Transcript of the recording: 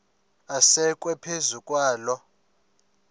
asekwe phezu kwaloo